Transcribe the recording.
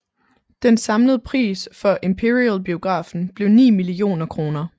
Den samlede pris for Imperialbiografen blev 9 millioner kr